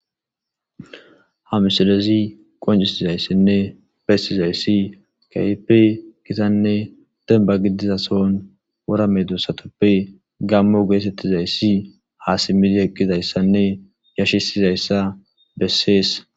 Ha misilezi qoncisizaysine besizaysi keehipe gitane demba gidiza sohon wora medosatupe gaamo geetetizaysi ha simidi eqidaysine yashisizayasa beses.